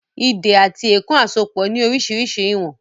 “Ìdè àti èèkàn àsopọ̀ ni orísirísi ìwọ̀n